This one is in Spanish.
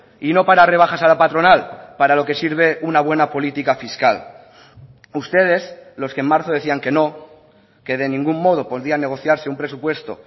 y no para rebajar a la patronal para lo que sirve una buena política fiscal ustedes los que en marzo decían que no que de ningún modo podía negociarse un presupuesto